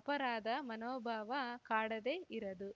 ಅಪರಾಧ ಮನೋಭಾವ ಕಾಡದೆ ಇರದು